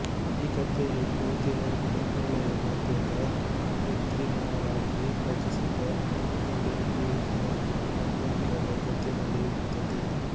ಈ ಕಥೆಯು ಕೋತಿ ಹಾಗೂ ಮೊಸಳೆಯ ಮಧ್ಯದ ಕೃತ್ರಿಮವಾಗಿ ರಚಿಸಿದ ಒಟ್ಟಿಗೆ ಜೀವಿಸುವ ಸಂಬಂಧದ ಜೊತೆ ನಡೆಯುತ್ತದೆ